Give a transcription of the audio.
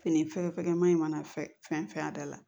Fini fɛ fɛgɛnma in mana fɛn fɛn a da la